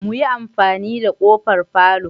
Muyi amfani da kofar palour?